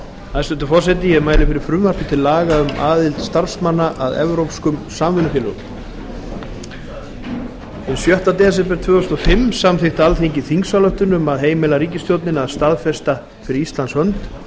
hæstvirtur forseti ég mæli fyrir frumvarpi til laga um aðild starfsmanna að evrópskum samvinnufélögum hinn sjötta desember tvö þúsund og fimm samþykkti alþingi þingsályktun um að heimila ríkisstjórninni að staðfesta fyrir ísland hönd